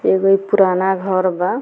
एगो ई पुराना घर बा।